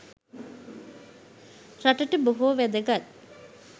රටට බොහෝ වැදගත්